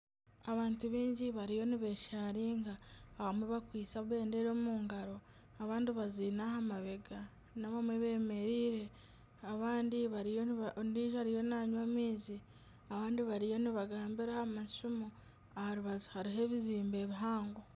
Abantu baingi bariyo nibesharinga abamwe bakwaitse ebendera omu ngaro abandi baziine ahamabega n'abamwe bemereire ondijo ariyo nanywa amaizi abandi bariyo nibagambira aha masimu aha rubaju hariho ebizimbe bihango.